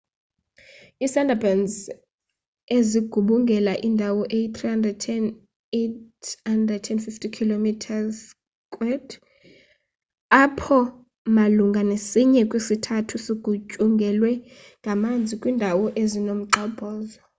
iisundarbans zigubungela indawo eyi-3,850 km² apho malunga nesinye kwisithathu sigutyungelwe ngamanzi / kwiindawo ezinomgxobhozo